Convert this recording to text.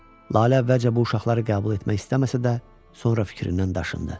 Lalə əvvəlcə bu uşaqları qəbul etmək istəməsə də, sonra fikrindən daşındı.